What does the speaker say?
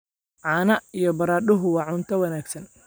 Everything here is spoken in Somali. Caano iyo baradhadu waa cunto wanaagsan.